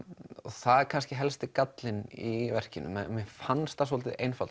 það er kannski helsti gallinn í verkinu mér fannst það svolítið einfalt